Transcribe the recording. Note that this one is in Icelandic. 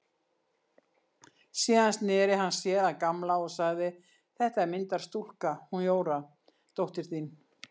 Síðan sneri hann sér að Gamla og sagði: Þetta er myndarstúlka, hún Jóra dóttir þín.